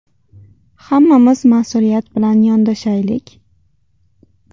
Hammamiz mas’uliyat bilan yondashaylik.